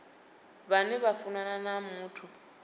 vhane vha funana na muthu